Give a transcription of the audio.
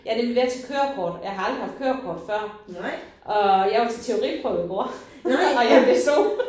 Jeg er nemlig ved at tage kørekort. Jeg har aldrig haft kørekort før og jeg var til teoriprøve i går og jeg bestod